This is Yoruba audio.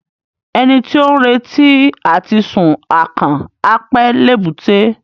Ẹni tí ó ń retí àti sun akàn, á pẹ́ l'èbúté.